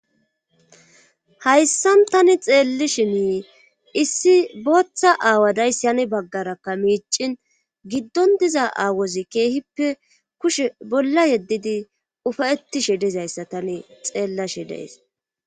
hayssan tani xeelli shimi issi booththa aawadayssi hani baggarakka miicin giddon diza aawozi keehippe kushe bolla yeddidi ufayettishi dizayssa tani xeella shi dees